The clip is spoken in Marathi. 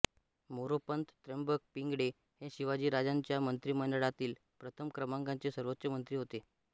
मोरोपंत त्र्यंबक पिंगळे हे शिवाजीराजांच्या मंत्रिमंडळातील प्रथम क्रमांकाचे सर्वोच्च मंत्री होते